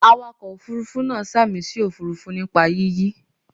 Awakọ̀ Òfurufú náà sàmì sí òfuurufú nípa yíyí.